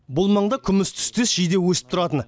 бұл маңда күміс түстес жиде өсіп тұратын